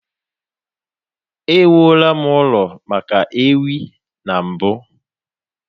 Ewuola m ụlọ maka ewi na mbụ.